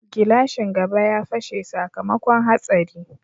Glashin gaba ya fashe sakamakon hatsari.